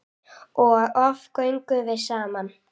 Og oft göngum við saman.